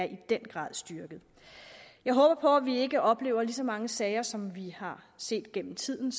i den grad er styrket jeg håber på at vi ikke oplever lige så mange sager som vi har set gennem tiden